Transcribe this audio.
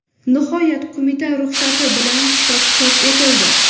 Nihoyat, qo‘mita ruxsati bilan kitob chop etildi.